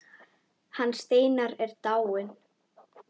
Hann Steinar er dáinn.